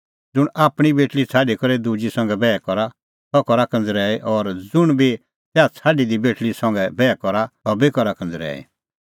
ज़ुंण आपणीं बेटल़ी छ़ाडी करै दुजी संघै बैह करा सह करा कंज़रैई और ज़ुंण बी तैहा छ़ाडी दी बेटल़ी संघै बैह करा सह बी करा कंज़रैई